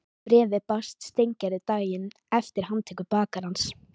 Bréfið barst Steingerði daginn eftir handtöku bakarans.